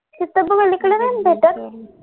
इथे देतात